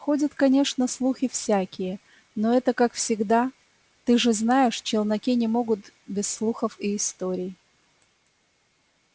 ходят конечно слухи всякие но это как всегда ты же знаешь челноки не могут без слухов и историй